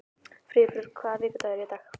Friðbjörg, hvaða vikudagur er í dag?